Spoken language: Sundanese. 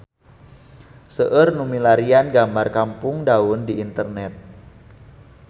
Seueur nu milarian gambar Kampung Daun di internet